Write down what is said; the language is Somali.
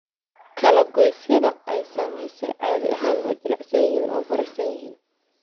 Kala-goysyada ay saamaysay caadi ahaan waa jilicsan yihiin oo bararsan yihiin.